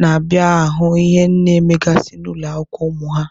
na-abịa ahụ ihe a na-emegasị n'ụlọ akwụkwọ ụmụ ha.